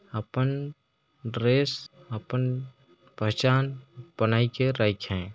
अपन dress अपन पहचान बनाई के रखे--